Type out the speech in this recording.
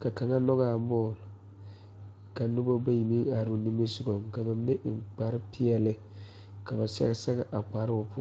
ka kaŋa ngogaa bɔɔle ka nobɔ bayi meŋ aroo nimisugɔŋ ka ba mine eŋ kparepeɛle ka ba sɛge sɛge a kparoo.